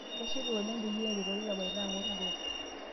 Kashipa oleng peyie aretoki Kapaito ang'or gool